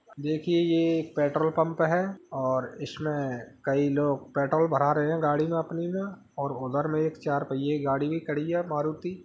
देखिए ये एक पेट्रोल पम्प है और इसमे कई लोग पेट्रोल भरा रहे हैं गाड़ी में अपनी में और उधर में एक चार पहिए गाड़ी भी खड़ी है मारुति।